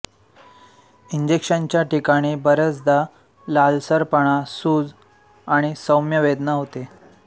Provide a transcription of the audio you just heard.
इंजेक्शनच्या ठिकाणी बऱ्याचदा लालसरपणा सूज आणि सौम्य वेदना होते